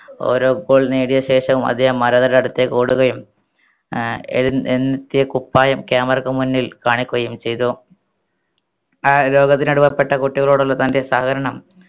ഓരോ goal നേടിയ ശേഷവും അദ്ദേഹം ആരാധരുടെ അടുത്തേക്ക് ഓടുകയും ഏർ എഴ് ന്നെത്തിയ കുപ്പായം camera ക്ക് മുന്നിൽ കാണിക്കുകയും ചെയ്തു ആ പുറപ്പെട്ട കുട്ടികളോടുള്ള തൻറെ സഹകരണം